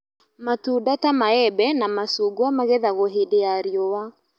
matunda ta maembe na macungwa magethagwo hĩndĩ ya riũwa